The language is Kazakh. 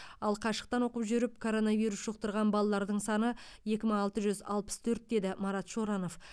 ал қашықтан оқып жүріп коронавирус жұқтырған балалардың саны екі мың алты жүз алпыс төрт деді марат шоранов